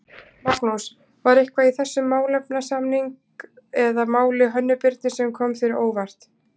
Magnús: var eitthvað í þessum málefnasamning eða máli Hönnu Birnu sem kom þér á óvart?